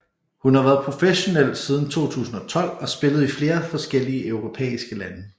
Hun har været professionel siden 2012 og spillet i flere forskellige europæiske lande